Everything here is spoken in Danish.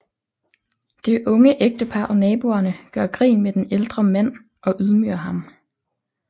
Det unge ægtepar og naboerne gør grin med den ældre mand og ydmyger ham